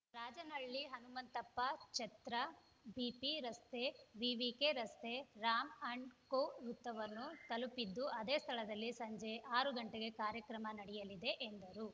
ರಾಜನಹಳ್ಳಿ ಹನುಮಂತಪ್ಪ ಛತ್ರ ಪಿಬಿ ರಸ್ತೆ ಎವಿಕೆ ರಸ್ತೆ ರಾಂ ಅಂಡ್‌ ಕೋ ವೃತ್ತವನ್ನು ತಲುಪಲಿದ್ದು ಅದೇ ಸ್ಥಳದಲ್ಲಿ ಸಂಜೆ ಆರು ಗಂಟೆಗೆ ಕಾರ್ಯಕ್ರಮ ನಡೆಯಲಿದೆ ಎಂದರು